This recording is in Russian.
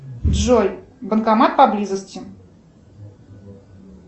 джой банкомат поблизости